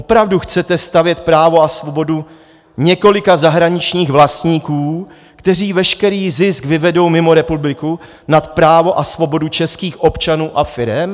Opravdu chcete stavět právo a svobodu několika zahraničních vlastníků, kteří veškerý zisk vyvedou mimo republiku, nad právo a svobodu českých občanů a firem?